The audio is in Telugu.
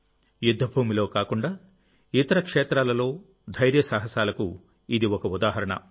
యుద్ధభూమిలో కాకుండా ఇతర క్షేత్రాలలో ధైర్యసాహసాలకు ఇది ఒక ఉదాహరణ